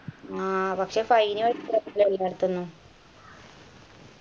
ആ പക്ഷേ fine